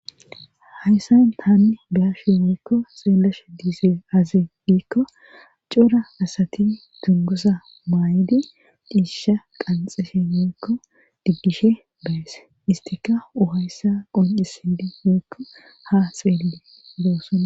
hayssan haanni baashe weykko xeellashe diize aze diikko cora asati dungosa maay7idi diisisha qanxe shenekko diggishe bayese istika uhayssa qoncisidi weykko ha xeelde doosona